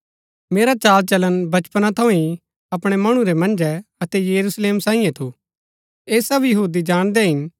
मेरा चाल चलन बचपन थऊँ ही अपणै मणु रै मन्जै अतै यरूशलेम सांईये थु ऐह सब यहूदी जाणदै हिन